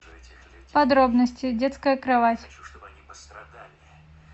подробности детская кровать